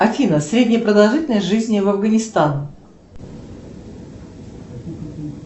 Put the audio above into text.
афина средняя продолжительность жизни в афганистан